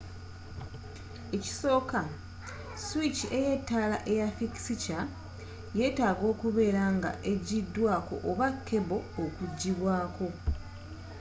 ekisooka swiki y'ettaala eya fikisikya yetaaga okubeera nga ejjidwako oba kebo okujjibwako